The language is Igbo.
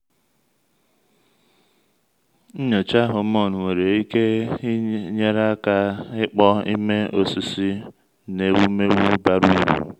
nnyocha hormone nwere ike nyere aka ịkpọ ime osisir n’ewumewụ bara uru.